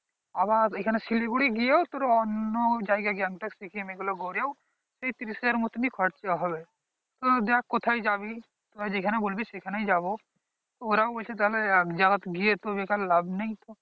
আবার ঐখানে শিলিগুড়ি গিয়ে তোর অন্য জায়গা গ্যাংটক সিকিম এই গুলো ঘুরেও সেই ত্রিশ হাজার মতনই খরচা হবে তো দেখ কোথায় যাবি তোরা যেখানে বলবি সেখানে যাবো ওরাও বলছে তাহলে যাওয়ার গিয়ে তো বেকার লাভ নেই